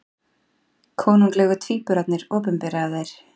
Konunglegu tvíburarnir opinberaðir